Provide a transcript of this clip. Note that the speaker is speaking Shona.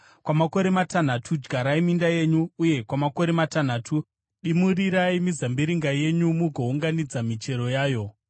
Kwamakore matanhatu dyarai minda yenyu, uye kwamakore matanhatu, dimurirai mizambiringa yenyu mugounganidza michero yayo.